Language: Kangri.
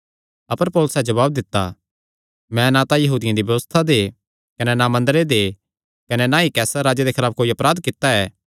अपर पौलुसैं जवाब दित्ता मैं ना तां यहूदियां दी व्यबस्था दे कने ना मंदरे दे कने ना ई कैसर राजे दे खलाफ कोई अपराध कित्ता ऐ